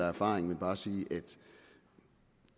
erfaring men bare sige at